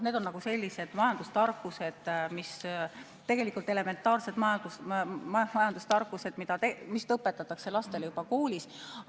Need on sellised majandustarkused, tegelikult elementaarsed majandustarkused, mida õpetatakse lastele juba koolis.